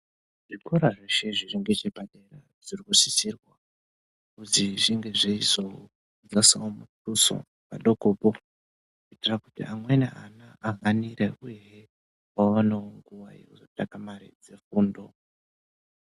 Zvikora zveshe zviri ngechepadera zviri kusisirwa kuzi zvinge zveizodzasawo muduso padokopo kuitira kuti amweni ana ahanire uyehe vaonewo nguwa yekuzotsvaka mare dzefundo.